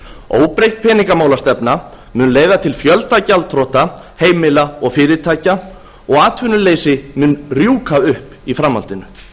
óbreytt peningamálastefna mun leiða til fjölda gjaldþrota heimila og fyrirtækja og atvinnuleysi mun rjúka upp í framhaldinu